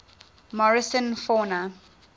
morrison fauna